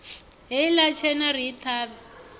heiḽa tshena ri i ṱhavhe